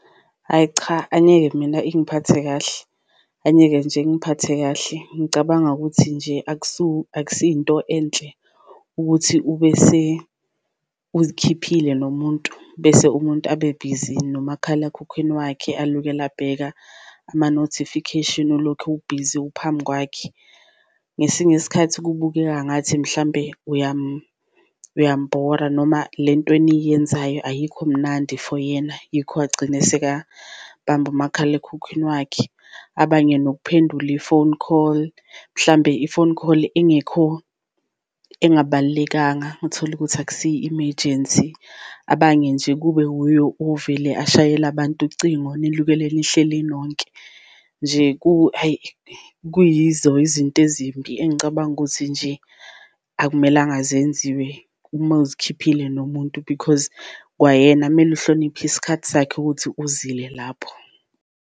Ayi cha angeke mina ingiphathe kahle, angeke nje ingiphathe kahle. Ngicabanga ukuthi nje akusi into enhle ukuthi ubese uzikhiphile nomuntu, bese umuntu abebhizi nomakhalakhukhwini wakhe alokele abheka ama-notification ulokhu ubhizi uphambi kwakhe. Ngesinye isikhathi kubukeka ngathi mhlambe uyambhora noma lento eniyenzayo ayikho mnandi for yena, yikho agcine esekambamba umakhalekhukhwini wakhe. Abanye nokuphendula i-phone call mhlambe i-phone call engekho engabalulekanga uthole ukuthi akusiyo i-imejensi, abanye nje kube uye ovele ashayele abantu ucingo nilokele nihleli nonke. Nje ayi kuyizo izinto ezimbi engicabanga ukuthi nje akumelanga zenziwe uma uzikhiphile nomuntu because kwayena kumele uhloniphe isikhathi sakhe ukuthi uzile lapho.